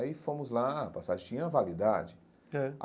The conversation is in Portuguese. Aí fomos lá, a passagem tinha validade.